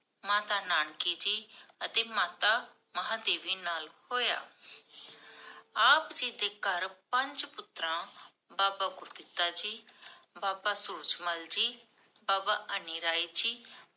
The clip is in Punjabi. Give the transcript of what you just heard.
ਮਾਤਾ ਨਾਨਕੀ ਜੀ, ਅਤੇ ਮਾਤਾ ਮਾਹਾਦੇਵੀ ਨਾਲ ਹੋਇਆ । ਆਪ ਜੀ ਦੇ ਘਰ ਪੰਜ ਪੁਤਰਾਂ, ਬਾਬਾ ਗੁਰਦਿੱਤਾ ਜੀ, ਬਾਬਾ ਸੂਰਜਮਲ ਜੀ, ਬਾਬਾ ਅਨ੍ਨਿਰਾਏ ਜੀ